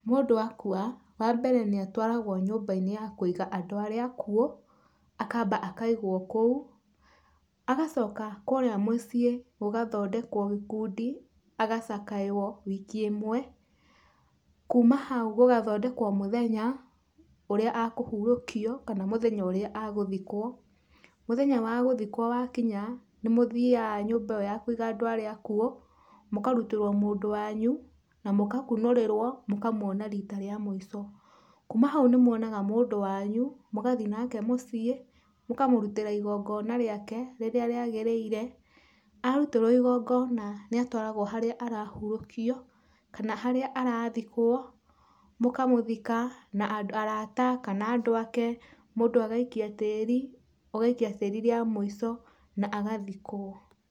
Mũndũ akua wa mbere nĩatwaragwo nyũmba-inĩ ya kũiga andũ arĩa akuũ akamba akaigwo kũu, agacoka kũrĩa mũciĩ gũgathondekwo gĩkundi gacakanywo wiki ĩmwe. Kuuma hau gũgathondekwo mũthenya ũria ekũhurũkio kana egũthikwo. Mũthenya wa gũthikwo wa kinya nĩ mũthiaga nyumba ĩ yo yakũiga andũ arĩa akuũ, mũkarutĩrwo mũndũ wanyũ, na mũgakunũrĩrwo mũkamuona rita rĩa mũico. Kuuma hau nĩmwonaga mũndũ wanyu mũgathiĩ nake mũciĩ, mũkamũrutĩra igongona rĩake rĩrĩa rĩagĩrĩire. Arutĩrwo igongona nĩ atwaragwo harĩa arahurũkio kana harĩa arathikwo, mũkamũthika na arata kana andũ ake, mũndũ agaikia tĩĩri, ũgaikia tĩĩri rĩa mũico na agathikwo.